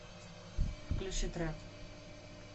включи трэп